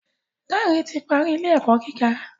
Dare ti parí ilé-ẹkọ gíga